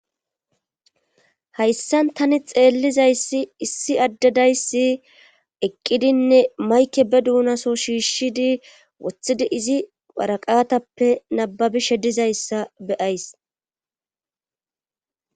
Hayssan tani xeellizayssi issi addedayssi eqqidinne mayke be duunaso shiishshidi woththidi izi paraqatappe nababishe dizayssa beyays.